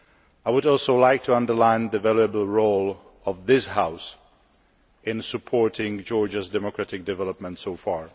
I would also like to underline the valuable role of this House in supporting Georgia's democratic development so far.